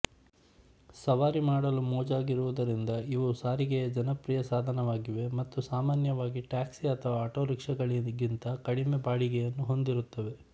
ಸವಾರಿ ಮಾಡಲು ಮೋಜಾಗಿರುವುದರಿಂದ ಇವು ಸಾರಿಗೆಯ ಜನಪ್ರಿಯ ಸಾಧನವಾಗಿವೆ ಮತ್ತು ಸಾಮಾನ್ಯವಾಗಿ ಟ್ಯಾಕ್ಸಿ ಅಥವಾ ಆಟೊರಿಕ್ಷಾಗಳಿಗಿಂತ ಕಡಿಮೆ ಬಾಡಿಗೆಯನ್ನು ಹೊಂದಿರುತ್ತವೆ